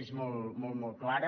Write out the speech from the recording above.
és molt clara